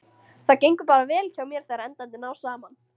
Það gengur bara vel hjá mér þegar endarnir ná saman.